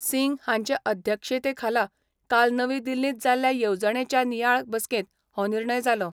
सिंग हांचे अध्यक्षतेखाला काल नवी दिल्लींत जाल्ल्या येवजणेच्या नियाळ बसकेंत हो निर्णय जालो.